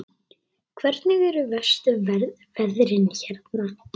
Hvernig eru verstu veðrin hérna?